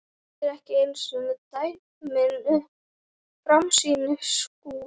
Þetta eru ekki einu dæmin um framsýni Skúla.